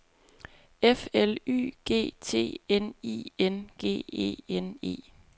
F L Y G T N I N G E N E